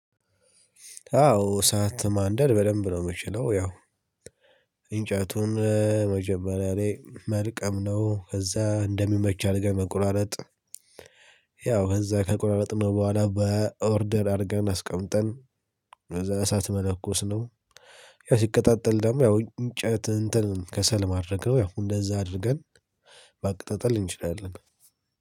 አዎ እሳት ማንደድ በደንብ ነው የምችለው ያው እንጨቱን መጀመሪያ ላይ መልቀም ነው ከዛ እንደሚመች አድገን መቆራረጥ። ያው ከዛ ከቁራረጥነው በኋላ በኦርደር አድርገን አስቀምጠን እዛ እሳት መለኮስ ነው። ያ ሲቀጣጠል ደግሞ ያው እንጨት እንትን ከሰል ማድረግ ነው ያው እንደዛ አድርገን ማቀጠጠል እንችላለን።